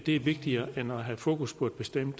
er vigtigere end at have fokus på et bestemt